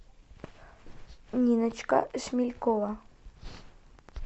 ниночка шмелькова